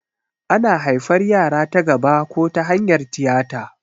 Ana haifan yara ta gaba ko ta hanyar tiyata